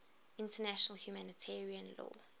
international humanitarian law